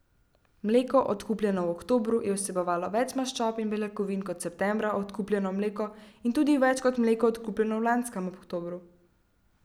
Mleko, odkupljeno v oktobru, je vsebovalo več maščob in beljakovin kot septembra odkupljeno mleko in tudi več kot mleko, odkupljeno v lanskem oktobru.